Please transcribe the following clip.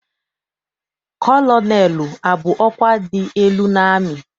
Kọlọnelụ abụ ọkwa dị elu n'amị?